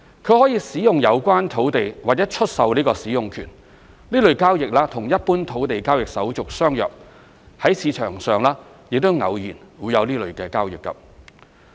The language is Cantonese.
他可以使用有關土地或出售這個使用權，這類交易與一般土地交易手續相若，在市場上亦偶有這類交易。